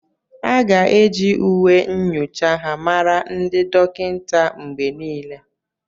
A ga-eji uwe nyocha ha mara ndị dọkịta mgbe niile.